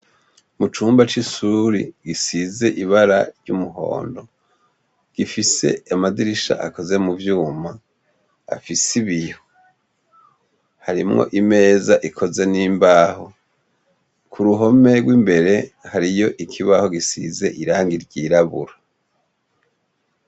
Mu cumba c'ishure risize ibara ry'umuhondo, gifise amadirisha akoze mu vyuma, afise ibiyo. Harimwo imeza ikoze n'imbaho, ku ruhome n'imbere hariyo ikibaho gisize irangi ryirabura.